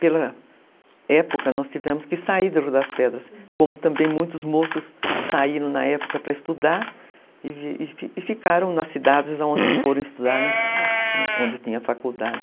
Pela época nós tivemos que sair das pedras, como também muitos moços saíram na época para estudar e ficaram nas cidades onde foram estudar, onde tinha faculdade.